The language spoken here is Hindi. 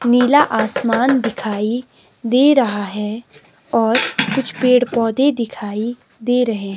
नीला आसमान दिखाई दे रहा है और कुछ पेड़ पौधे दिखाई दे रहे--